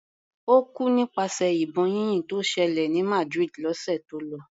Ó kú nípasẹ̀ ìbọn yínyìn tó ṣẹlẹ̀ ní Madrid lọ́sẹ̀ tó lọ.